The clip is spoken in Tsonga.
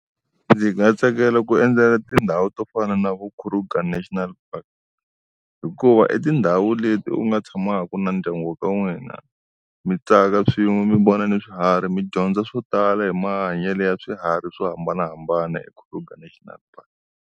Ndzi nga tsakela ku endzela tindhawu to fana na vu Kruger National Park. Hikuva i tindhawu leti u nga tshamaka na ndyangu ka n'wina, mi tsaka swin'we mi vona ni swiharhi mi dyondza swo tala hi mahanyele ya swiharhi swo hambanahambana eKruger National Park